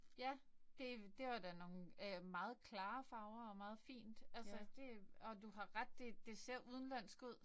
Ja. Det det var da nogle øh meget klare farver og meget fint altså det. Og du har ret det det ser udenlandsk ud